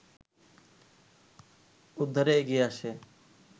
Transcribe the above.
উদ্ধারে এগিয়ে আসে